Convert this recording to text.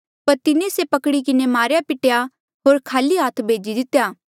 पर तिन्हें से पकड़ी किन्हें मारेया पिटेया होर खाली हाथ भेजी दितेया